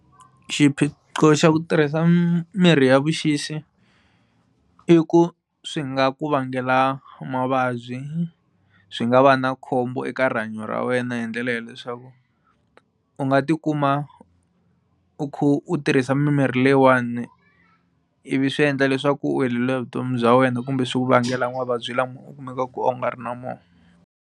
Xiphiqo xa ku tirhisa mirhi ya vuxisi i ku swi nga ku vangela mavabyi swi nga va na khombo eka rihanyo ra wena hi ndlela ya leswaku u nga tikuma u kha u tirhisa mimirhi leyiwani i vi swi endla leswaku u heleriwa hi vutomi bya wena kumbe swi ku vangela mavabyi lama u kumeka ku a wu nga ri na wona.